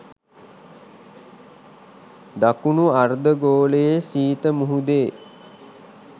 දකුණු අර්ධගෝලයේ ශීත මුහුදේ